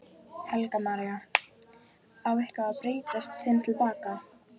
Helga María: Á eitthvað að breyta þeim til baka?